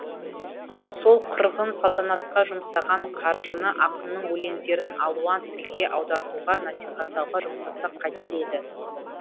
сол қырғын салтанатқа жұмсаған қаржыны ақынның өлеңдерін алуан тілге аудартуға насихаттауға жұмсасақ қайтер еді